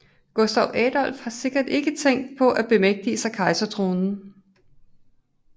Gustav Adolf har sikkert ikke tænkt på at bemægtige sig kejserkronen